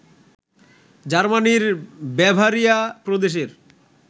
জার্মানির বাভারিয়া প্রদেশের